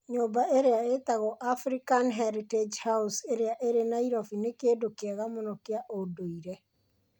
Nyũmba ĩrĩa ĩtagwo African Heritage House ĩrĩa ĩrĩ Nairobi nĩ kĩndũ kĩega mũno kĩa ũndũire.